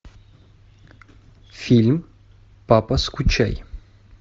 фильм папа скучай